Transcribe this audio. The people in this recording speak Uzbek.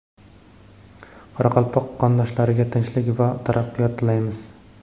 qoraqalpoq qondoshlarga tinchlik va taraqqiyot tilaymiz.